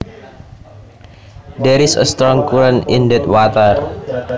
There is a strong current in that water